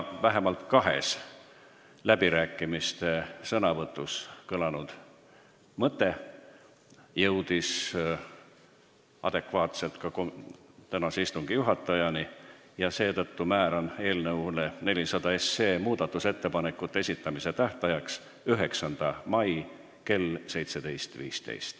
Vähemalt kahes läbirääkimistel toimunud sõnavõtus kõlanud mõte jõudis adekvaatselt ka tänase istungi juhatajani ja seetõttu määran eelnõu 400 muudatusettepanekute esitamise tähtajaks 9. mai kell 17.15.